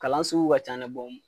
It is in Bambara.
Kalan sugu ka ca dɛ